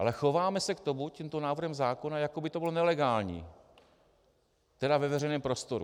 Ale chováme se k tomu tímto návrhem zákona, jako by to bylo nelegální - tedy ve veřejném prostoru.